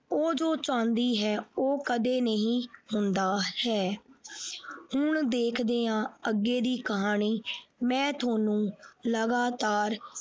ਉਹ ਜੋ ਚਾਹੁੰਦੀ ਹੈ ਉਹ ਕਦੇ ਨਹੀਂ ਹੁੰਦਾ ਹੈ ਹੁਣ ਦੇਖਦੇ ਹਾਂ ਅੱਗੇ ਦੀ ਕਹਾਣੀ ਮੈਂ ਤੁਹਾਨੂੰ ਲਗਾਤਾਰ।